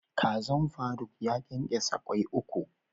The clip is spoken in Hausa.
Kazan Faruk ya kenkesa Kwai uku.